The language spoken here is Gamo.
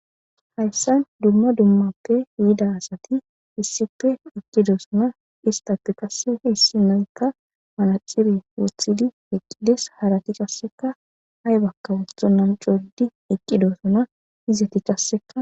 hayssan dumma dummappe yida asati issippe eqqidosona istappe qassehe issinoykka manacire wothidi eqqides. harati qasseka hay bakka wothonnan coddi eqqidosona izeti kasseka.